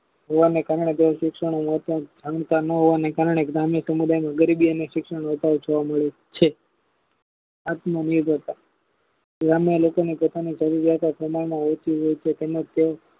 એવા શિક્ષાનો વ્યાપાર ઘનતા ન હોવાને કારણે જ્ઞાની સમુદાય ગરીબી અને શિક્ષણ વધારે જોવા મળે છે આત્મનિર્ભરતા ગ્રામ્ય ના લોકો ને પોતાની જરૂરિયાતો પ્રમાણમાં ઓછી હોય છે તેમજ તે